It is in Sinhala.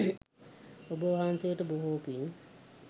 ඔබ වහන්සේට බොහෝ පින්